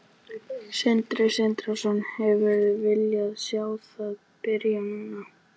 Sindri Sindrason: Hefðirðu viljað sjá það byrja núna?